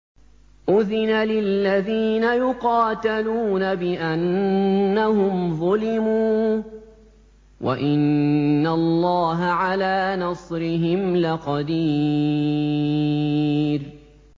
أُذِنَ لِلَّذِينَ يُقَاتَلُونَ بِأَنَّهُمْ ظُلِمُوا ۚ وَإِنَّ اللَّهَ عَلَىٰ نَصْرِهِمْ لَقَدِيرٌ